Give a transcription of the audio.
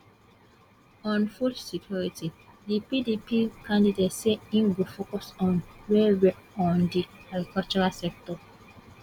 on food security di pdp candidate say im go focus on wellwell on di agricultural sector